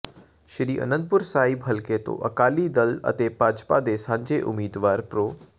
ਸ੍ਰੀ ਆਨੰਦਪੁਰ ਸਾਹਿਬ ਹਲਕੇ ਤੋਂ ਅਕਾਲੀ ਦਲ ਅਤੇ ਭਾਜਪਾ ਦੇ ਸਾਂਝੇ ਉਮੀਦਵਾਰ ਪ੍ਰੋ